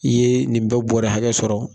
I ye nin bɛɛ bɔrɛ hakɛ sɔrɔ.